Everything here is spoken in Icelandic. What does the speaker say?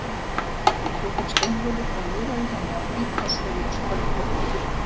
Hann tók upp steinvölu og miðaði henni á hvítkálshöfuð spölkorn í burtu.